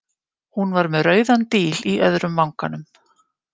Hún var með rauðan díl í öðrum vanganum.